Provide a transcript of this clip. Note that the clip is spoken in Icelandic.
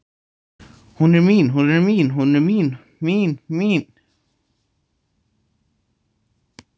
Hún er mín, hún er mín, hún er mín, mín, mín.